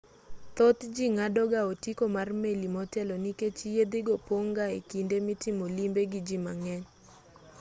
thoth ji ng'ado ga otiko mar meli motelo nikech yiedhi go pong' ga e kinde mitimo limbe gi ji mang'eny